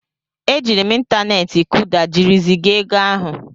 E jiiri m ịntaneti Kuda jiri zigaa ego ahụ.